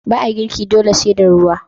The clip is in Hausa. Ba a girke dole sai da ruwa.